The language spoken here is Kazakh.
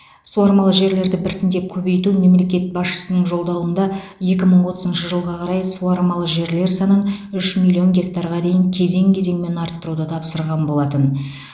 суармалы жерлерді біртіндеп көбейту мемлекет басшысының жолдауында екі мың отызыншы жылға қарай суармалы жерлер санын үш миллион гектарға дейін кезең кезеңмен арттыруды тапсырған болатын